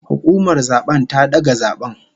Hukumar zabe ta daga zaben